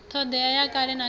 thodea ya kale na kale